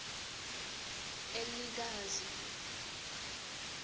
elekazi